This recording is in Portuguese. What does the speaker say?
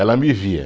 Ela me via.